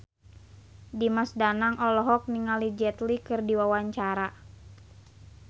Dimas Danang olohok ningali Jet Li keur diwawancara